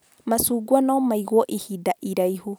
Macungwa no maigwo ihinda iraihu